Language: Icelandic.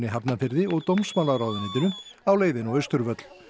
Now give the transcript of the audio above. Hafnarfirði og dómsmálaráðuneytinu á leiðinni á Austurvöll